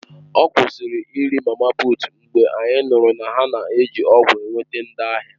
Ọ kwụsịrị iri mama puut mgbe anyị nụrụ na ha na-eji ọgwụ na-enweta ndị ahịa.